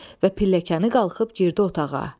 Və pilləkanı qalxıb girdi otağa.